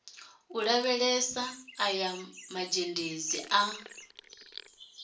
u lavhelesa aya mazhendedzi a